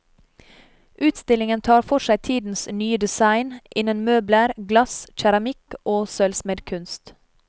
Utstillingen tar for seg tidens nye design innen møbler, glass, keramikk og sølvsmedkunst.